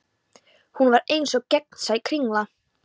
Hún var eins og gegnsæ kringla.